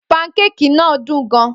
Pankeki náà dùn gan-an.